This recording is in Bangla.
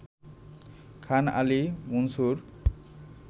খান আলী মুনসুর